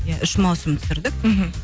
иә үш маусым түсірдік мхм